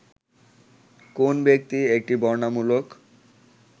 কোন ব্যক্তি একটি বর্ণনামূলক